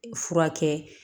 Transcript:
Furakɛ